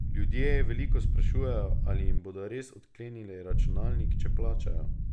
Ljudje veliko sprašujejo, ali jim bodo res odklenili računalnik, če plačajo.